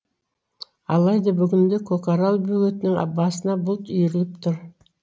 алайда бүгінде көкарал бөгетінің басына бұлт үйіріліп тұр